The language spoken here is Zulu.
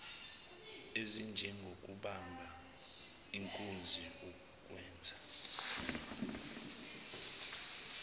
ezinjengokubamba inkunzi ukweba